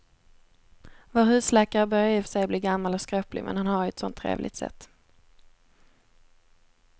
Vår husläkare börjar i och för sig bli gammal och skröplig, men han har ju ett sådant trevligt sätt!